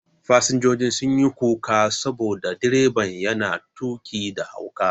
Fasinjojin sun yi kuka saboda direban yana tuƙi da hauka.